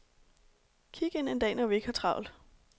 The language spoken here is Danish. Kig ind en dag, når vi ikke har travlt.